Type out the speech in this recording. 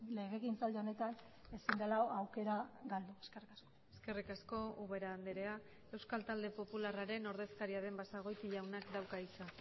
legegintzaldi honetan ezin dela aukera galdu eskerrik asko eskerrik asko ubera andrea euskal talde popularraren ordezkaria den basagoiti jaunak dauka hitza